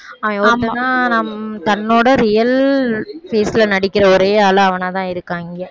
அவன் ஒருத்தன்தான் நம்~ தன்னோட real face ல நடிக்கிற ஒரே ஆளு அவனாதான் இருக்கான் இங்க